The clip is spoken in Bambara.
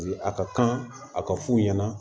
A ka kan a ka fu ɲɛna